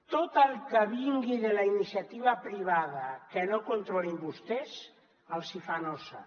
tot el que vingui de la iniciativa privada que no controlin vostès els hi fa nosa